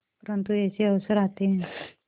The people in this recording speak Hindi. परंतु ऐसे अवसर आते हैं